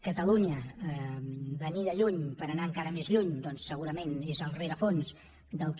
catalunya venir de lluny per anar encara més lluny doncs segurament és el rerefons del que